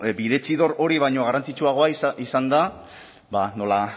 bidezidor hori baino garrantzitsuagoa izan da ba nola